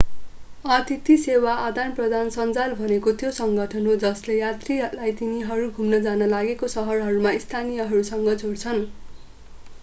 अतिथि सेवा आदानप्रदान सञ्जाल भनेको त्यो सङ्गठन हो जसले यात्रीलाई तिनीहरू घुम्न जान लागेका सहरहरूमा स्थानीयहरूसँग जोड्छन्